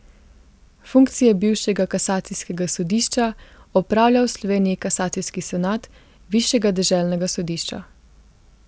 Funkcije bivšega kasacijskega sodišča opravlja v Sloveniji kasacijski senat Višjega deželnega sodišča.